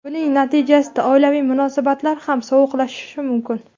Buning natijasida oilaviy munosabatlar ham sovuqlashishi mumkin.